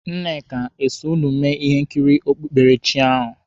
Nkechi o so ụnụ mee ihe nkiri okpukperechi ahụ?